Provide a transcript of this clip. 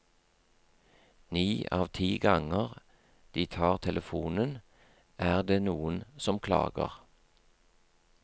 Ni av ti ganger de tar telefonen, er det noen som klager.